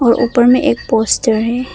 और ऊपर में एक पोस्टर है।